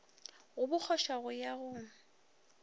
go bokgoša go ya go